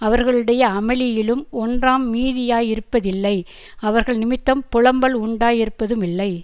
அவர்களுடைய அமளியிலும் ஒன்றாம் மீதியாயிருப்பதில்லை அவர்கள் நிமித்தம் புலம்பல் உண்டாயிருப்பதுமில்லை